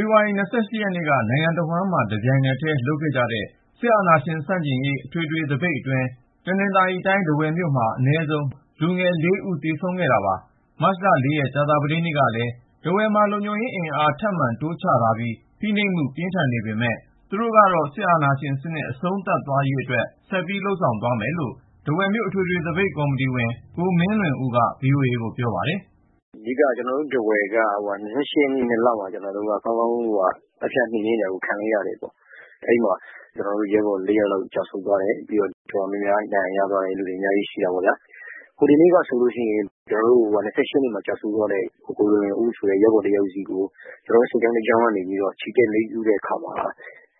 ေဖေါ်ဝါရီ ရက်နေ့က နိုင်ငံတဝှမ်း တပြိုင်နက်ထဲ လုပ်ခဲ့ကြတဲ့ စစ်အာဏာရှင်ဆန့်ကျင်ရေး အထွေထွေသပိတ် ဖြိုခွင်းမှုအတွင်း တနင်္သာရီတိုင်း ထားဝယ်မြို့မှာ အနည်းဆုံး လူငယ် ဦး သေဆုံးခဲ့ရတာပါ။ မတ်လ ရက် ကြာသာပတေးနေ့ကလည်း ထားဝယ်မှာ လုံခြုံရေးအင်အား ထပ်မံတိုးချထားပြီး ဖိနှိပ်မှု ပြင်းထန်နေပေမယ့်လည်း သူတို့ကတော့ စစ်အာဏာရှင်စနစ် အဆုံးသတ်ရေးအတွက် ဆက်ပြီးလုပ်ဆောင်သွားမယ်လို့ ထားဝယ်မြို့ အထွေထွေသပိတ်ကော်မတီဝင် ကိုမင်းလွင်ဦးက VOA ကို ပြောပါတယ်။ "ကျနော်တို့ ထားဝယ်က ၂၈ ရက်- ၂လမှာ သတ်ဖြတ်နှိမ်နင်းတာကို ကောင်းကောင်း ခံလိုက်ရတယ်။ အဲဒီမှာ ကျနော်တို့ရဲဘော် ယောက်လောက် ကျဆုံးသွားတယ်။ ဒဏ်ရာရသွားသူတွေ အများကြီးရှိတာပေါ့။ ဟိုတနေ့ကဆိုရင် ၂၈ ရက်မှာ ကျဆုံးသွားတဲ့ ကိုကိုလွင်ဦးဆိုတဲ့ ရဲဘော်တယောက်ရဲ့ ဈာပနအတွက် ကျနော်တို့ စစ်ကြောင်းတကြောင်းက ချီတက်အလေးပြုတဲ့အခါမှာ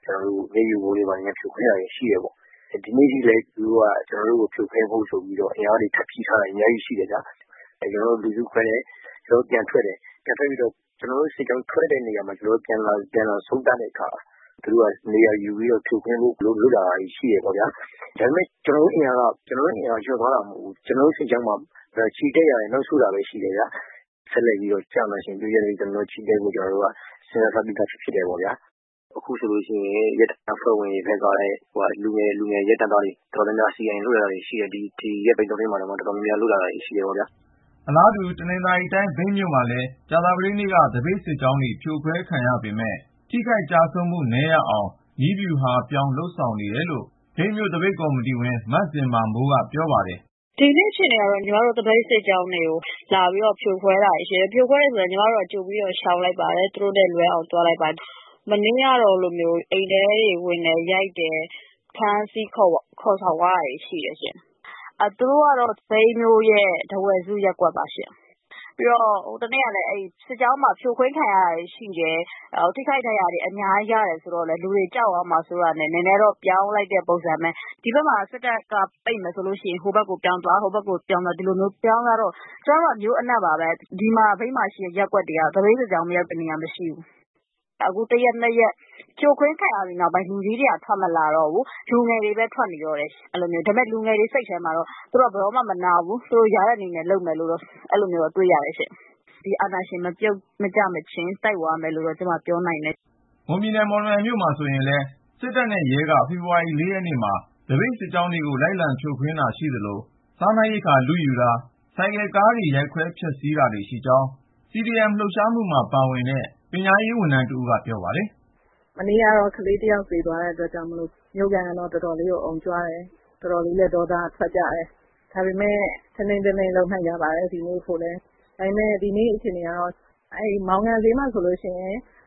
ကျနော်တို့ကို မျက်ရည်ယိုဗုံးတွေ ဘာတွေနဲ့ ဖြိုခွင်းတာတွေ ရှိတယ်ပေါ့။ ဒီကနေ့ထိလည်း သူတို့က ကျနော်တို့ကို ဖြိုခွင်းဖို့ဆိုပြီးတော့ အင်အားတွေ ထပ်ဖြည့်ထားတာ အများကြီးရှိတယ်ဗျာ။ အဲဒီတော့ ကျနော်တို့က လူစုခွဲတယ် ပြီးရင် ပြန်ထွက်တယ်။ အဲလို ပြန်ထွက်ပြီး ကျနော်တို့ စစ်ကြောင်း ပြန်ဆုံတဲ့အခါ သူတို့က နေရာယူပြီးဖြိုခွင့်းဖို့ လုပ်လာတာတွေ ရှိတယ်။ ဒါပေမယ့် ကျနော်တို့ အင်အားက လျော့သွားမျိုး မဟုတ်ဘူး။ ကျနော်တို့ စစ်ကြောင်းမှာ ချီတက်တာရယ် ၊ နောက်ဆုတ်တာရယ်ပဲ ရှိတာ။ အဲဒီတော့ စစ်အာဏာရှင် ပြုတ်ကျရေး ကျနော်တို့က ဆက်လက်ချီတက်ဖို့ ဆုံးဖြတ်ထားပြီးသား ဖြစ်ပါတယ်။ အခုဆိုရင် ကျနော်တို့ ထားဝယ်မြို့မှာ ရဲတပ်ဖွဲ့ဝင်ထဲက လူငယ်ရဲတပ်သား အတော်များများ CDM လုပ်လာတာတွေ ရှိတယ် ဒီရက်ပိုင်းထဲမှာ။" အလားတူ တနင်္သာရီတိုင်း မြိတ်မြို့မှာလည်း ကြာသပတေးနေ့က သပိတ်စစ်ကြောင်းတွေ ဖြိုခွဲခံရပေမယ့် ထိခိုက်ကျဆုံးမှု နည်းရအောင် နည်းဗျူဟာပြောင်း လုပ်ဆောင်ခဲ့တယ်လို့ မြိတ်မြို့သပိတ်ကော်မတီဝင် မဇင်မာမိုးက ပြောပါတယ်။ "ဒီနေ့ကြာသပတေးမှာ မြိတ်မြို့က သပိတ်စစ်ကြောင်းတွေကို လာရောက်ဖြိုခွဲတာတွေ ရှိတယ်။ ဖြိုခွဲတယ်ဆိုတော့ ညီမတို့က ကြိုပြီးရှောင်လိုက်ပါတယ်။ သူတို့နဲ့ လွဲအောင်သွားလိုက်ပါတယ်။ ဗုဒ္ဓဟူးနေ့ကဆိုရင် အိမ်ထဲတွေထဲဝင်ပြီး ရိုက်တယ် ၊ ဖမ်းဆီး ခေါ်ဆောင်သွားတာတွေ ရှိပါတယ်ရှင့်။ အဲဒါက မြိတ်မြို့ရဲ့ ထားဝယ်စုရပ်ကွက်မှာပါ။ ပြီးတော့ ဟိုတနေ့က သပိတ်စစ်ကြောင်း ဖြိုခွင်းခံရတာတွေရှိတယ်.. ထိခိုက်ဒဏ်ရာတွေ ရခဲ့တာအများကြီးရှိတော့ လူတွေကြောက်သွားမှာ စိုးလို့ ၊ နည်းဗျူဟာ ပြောင်းလိုက်ကြတယ်။ ဒီဖက်မှာ စစ်တပ်က ပိတ်တယ်ဆိုရင် ဟိုဘက်ကို ပြောင်းသွား.. ပြောင်းသွားနဲ့ မြိတ်မှာတော့ သပိတ်စစ်ကြောင်း မရောက်တဲ့နေရာဆိုတာ မရှိပါဘူး။ မြို့အနှံ့မှာ ဆန္ဒပြနေကြတာပါ။ အခုဆိုရင် ဖြိုခွင်းခံရပြီး တရက်နှစ်ရက်အတွင်းမှာ လူကြီးတွေ သိပ်မထွက်တော့ဘူး ။ လူငယ်တွေပဲ အထွက်များတယ်။ ဒါပေမဲ့ လူငယ်တွေရဲ့ စိတ်ထဲမှာတော့ အာဏာရှင် မပြုတ်ကျမချင်း သူတို့တိုက်သွားမယ် လုပ်သွားမယ်ဆိုတာ တွေ့နေရတယ်ရှင့်။" တနင်္သာရီတိုင်းနဲ့ ကပ်လျှက် မွန်ပြည်နယ်ရဲ့ မော်လမြိုင်မြို့မှာဆိုရင်လည်း စစ်တပ်နဲ့ရဲက ဖေဖေါ်ဝါရီ ရက်နေ့မှာ သပိတ်စစ်ကြောင်းတွေ လိုက်လံဖြိုခွင်းတာ ရှိသလို၊ စားနပ်ရိက္ခာ လုယူတာ ၊ ဆိုင်ကယ်နဲ့ကားတွေကို ရိုက်ခွဲဖျက်ဆီးတာတွေ ရှိကြောင်း CDM လှုပ်ရှားမှုမှာပါဝင်တဲ့ ပညာရေးဝန်ထမ်း အမျိုးသမီးတဦးက ပြောပါတယ်။ "ဗုဒ္ဓဟူးနေ့က ကလေးတယောက် သေဆုံးသွားတဲ့အတွက်ကြောင့် မြို့ခံတွေ တော်တော်လေးကို အုံကြွကြတယ်။ အတော်လေးကို ဒေါသထွက်နေကြတယ်။ ဒါပေမဲ့ ထိန်းထိန်းသိမ်းသိမ်း လုပ်နေကြပါတယ်။ ဒီနေ့ အခြေအနေပြောပါဆိုရင် မောင်ငံဈေးမှာ အသလွတ်ကြီး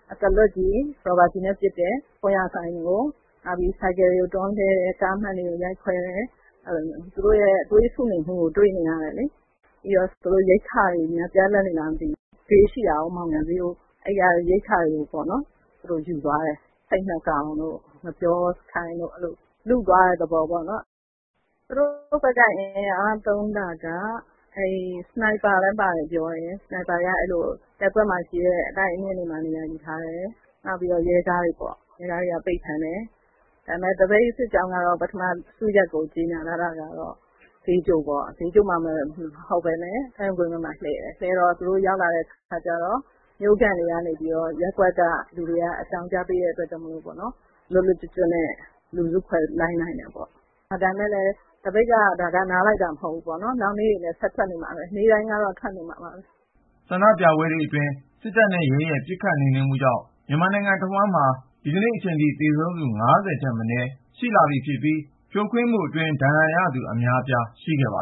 ရော်ဘာကျည်နဲ့ပစ်တယ်၊ ဆိုင်ကယ်တွေ တွန်းလှဲတယ် ကားမှန်တွေ ရိုက်ခွဲတယ်။ သူတို့ရဲ့ သွေးဆူနေမှုကို တွေ့နေရတယ်လေ။ ပြီးတော့ သူတို့မှာ ရိက္ခာတွေ ပြတ်လပ်နေလား မသိပါဘူး... မောင်ငံအရပ်မှာရှိတဲ့ ဈေးကနေ ရိက္ခာတွေ သူတို့ယူသွားတယ်။ ဆိတ် ၂ ကောင်၊ ငှက်ပျောခိုင်တို့ လုယူသွားတဲ့ သဘောပေါ့။ သူတို့ဘက်က ဘယ်လိုအင်အား သုံးသလဲဆိုရင် လက်ဖြောင့် sniper သမားလည်းပါတယ် ပြောတယ်။ sniper တွေက ရပ်ကွက်ထဲက တိုက်အမြင့်ကြီးတွေ ပေါ်မှာ နေရာယူထားတယ်။ နောက်ပြီး ရဲကားတွေနဲ့ ပိတ်ဖမ်းတာမျိုး လုပ်တယ်။ ဒီနေ့ဆို သပိတ်စစ်ကြောင်းက စုရပ်ကို ပထမ ကြေညာထားတာက ဈေးချိုအရပ်လို့ ကြေညာထားတယ်။ တကယ်တော့ ဈေးချိုမှာ မဟုတ်ပဲနဲ့ ဒိုင်းဝန်ကွင်းဘက်မှာ စီတန်း လှည့်ကြတယ်။ စစ်တပ်နဲ့ရဲ လိုက်လာတဲ့အခါကျတော့ မြို့ခံတွေက အကြောင်းကြားပေးတဲ့အတွက် လွတ်လွတ်ကျွတ်ကျွတ်နဲ့ လူစု ခွဲလိုက်နိုင်တယ်ပေါ့။ ဒါပေမယ့် သပိတ်က နားလိုက်တာတော့ မဟုတ်ဘူးပေါ့ နောက်နေ့တွေလည်း ဆက်ထွက်နေမှာပဲ။ နေ့တိုင်းကတော့ ထွက်နေမှာပါပဲ။" ဆန္ဒပြပွဲတွေအတွင်း စစ်တပ်နဲ့ရဲရဲ့ ပစ်ခတ်နှိမ်နင်းမှုကြောင့် မြန်မာတနိုင်ငံလုံးမှာ ဒီနေ့အချိန်ထိ သေဆုံးသူ ထက်မနည်း ရှိလာပြီး၊ ဖိနှိပ် ဖြိုခွဲမှုအတွင်း ဒဏ်ရာရသူ အများအပြားရှိခဲ့ပါ